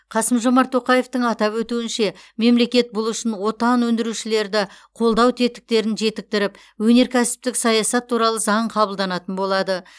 қасым жомарт тоқаевтың атап өтуінше мемлекет бұл үшін отандық өндірушілерді қолдау тетіктерін жетіктіріп өнеркәсіптік саясат туралы заң қабылданатын болады